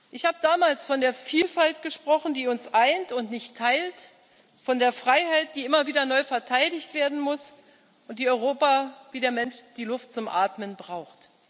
Ich habe damals von der Vielfalt gesprochen, die uns eint und nicht teilt, von der Freiheit, die immer wieder neu verteidigt werden muss und die Europa wie der Mensch die Luft zum Atmen braucht.